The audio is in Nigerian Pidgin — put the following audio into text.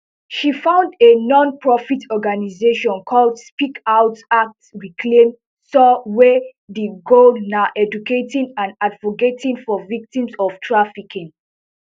she found a nonprofit organisation called speak out act reclaim soar wey di goal na educating and advocating for victims of trafficking